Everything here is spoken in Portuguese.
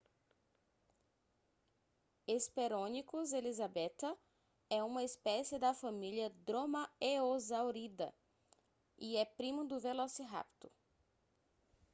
hesperonychus elizabethae é uma espécie da família dromaeosauridae e é primo do velociraptor